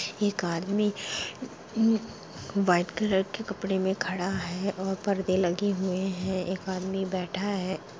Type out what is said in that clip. एक आदमी white colour के कपडे में खड़ा है और पर्दे लगे हुए है एक आदमी बैठा है।